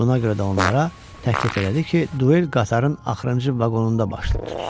Buna görə də onlara təklif elədi ki, duel qatarın axırıncı vaqonunda baş tutsun.